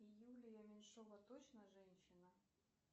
юлия меньшова точно женщина